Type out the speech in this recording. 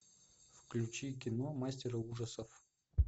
включи кино мастера ужасов